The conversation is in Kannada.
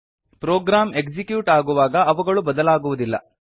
ಪ್ರೊಗ್ರಾಮ್ ಎಕ್ಸಿಕ್ಯೂಟ್ ಆಗುವಾಗ ಅವುಗಳು ಬದಲಾಗುವುದಿಲ್ಲ